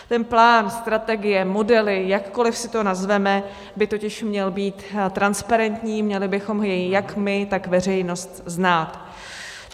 Ten plán, strategie, modely, jakkoli si to nazveme, by totiž měl být transparentní, měli bychom jej jak my, tak veřejnost znát.